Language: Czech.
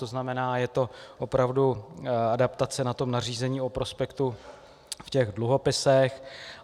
To znamená, je to opravdu adaptace na to nařízení o prospektu v těch dluhopisech.